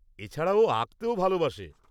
-এছাড়া ও আঁকতেও ভালোবাসে।